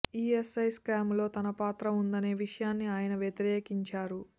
ESI scam లో తన పాత్ర ఉందనే విషయాన్ని ఆయన వ్యతిరేకించారు